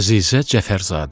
Əzizə Cəfərzadə.